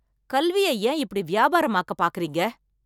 கல்வியை ஏன் இப்படி வியாபாரம் ஆக்க பார்க்கிறீங்க